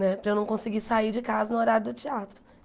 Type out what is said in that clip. Né para eu não conseguir sair de casa no horário do teatro.